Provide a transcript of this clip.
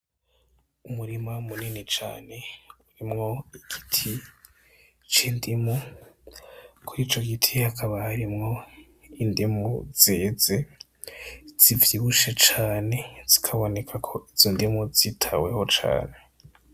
Umurima munini cane, urimwo igiti c'indimu kuri ico gitegwa hakaba harimwo indimu zeze zivyibushe cane zikaboneka ko izo ndimu zitaweho cane.